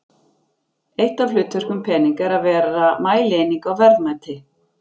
Eitt af hlutverkum peninga er að vera mælieining á verðmæti.